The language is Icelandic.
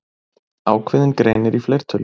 Ákveðinn greinir í fleirtölu.